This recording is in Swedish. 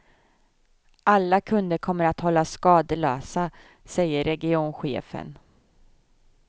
Alla kunder kommer att hållas skadelösa, säger regionchefen.